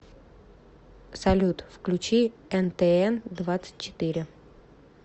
салют включи эн тэ эн двадцать четыре